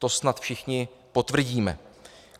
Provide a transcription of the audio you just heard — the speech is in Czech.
To snad všichni potvrdíme.